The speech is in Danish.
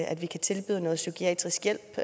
at vi kan tilbyde noget psykiatrisk hjælp